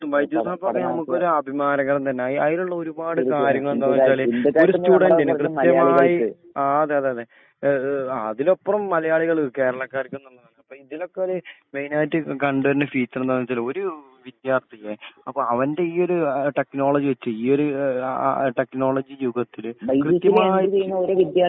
അതേ തീർത്തും. വൈദ്യുത പരസ്പരമായിട്ടുള്ള പഠനം നമുക്കൊരു അഭിമാനം തന്നെ. അത് അതിനുള്ള ഒരുപാട് കാര്യങ്ങള് എന്താന്ന് വെച്ച് കഴിഞ്ഞാല് രണ്ട് സ്റ്റുഡന്റിന് കൃത്യമായിട്ട് മലയാളികൾക്ക് ആ അതേ അതേ. ഏഹ് ഏഹ് ആ അതിലപ്പുറം മലയാളികള് കേരളക്കാർക്ക്ന്ന്ള്ളതാണ്. അപ്പൊ ഇതിനൊക്കെ ഒരു മെയിൻ ആയിട്ട് കണ്ടു വരുന്ന ഫുച്ചർ എന്താന്ന് വെച്ച് കഴിഞ്ഞാ ഒരു വിദ്യാർത്ഥിയെ അപ്പൊ അവന്റെ ഈ ഒരു ടെക്നോളജി വെച്ച് ഈ ഒരു ഏഹ് ആഹ് ആഹ് ടെക്നോളജി രൂപത്തില് കൃത്യമായി വൈവിദ്യമായിട്ട്